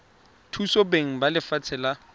thusa beng ba lefatshe la